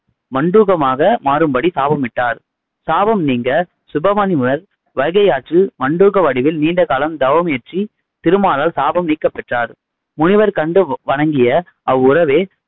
மண்டூகமாக மாறும்படி சாபமிட்டார். சாபம் நீங்க சுபமுனிவர் வைகை ஆற்றில் மண்டூக வடிவில் நீண்டகாலம் தவமியற்றி திருமாலால் சாபம் நீக்கப்பெற்றார். முனிவர் கண்டு வ வணங்கிய அவ்வுரவே